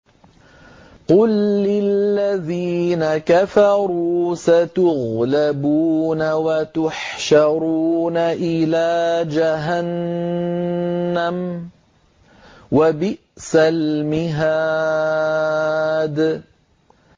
قُل لِّلَّذِينَ كَفَرُوا سَتُغْلَبُونَ وَتُحْشَرُونَ إِلَىٰ جَهَنَّمَ ۚ وَبِئْسَ الْمِهَادُ